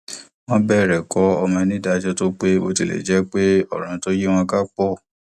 wọn bẹrẹ kọ ọmọ ní ìdájọ tó pé bó tilẹ jẹ pé òràn tó yí wọn ká pọ